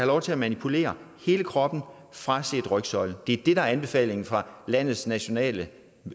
lov til at manipulere hele kroppen fraset rygsøjlen det er det der er anbefalingen fra landets nationale